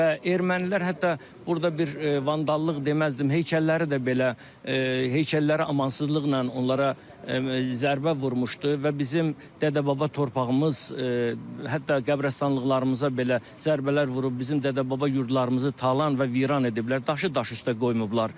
Və ermənilər hətta burda bir vandallıq deməzdim, heykəlləri də belə, heykəllərə amansızlıqla onlara zərbə vurmuşdu və bizim dədə-baba torpağımız hətta qəbrəstanlıqlarımıza belə zərbələr vurub bizim dədə-baba yurdlarımızı talan və viran ediblər, daşı daş üstə qoymayıblar.